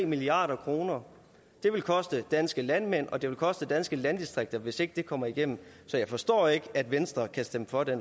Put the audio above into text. milliard kroner det vil koste for danske landmænd og det vil koste danske landdistrikter hvis ikke det kommer igennem så jeg forstår ikke at venstre kan stemme for det